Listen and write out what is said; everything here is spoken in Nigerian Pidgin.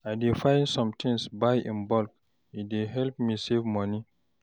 I dey buy sometins in bulk, e dey help me save moni.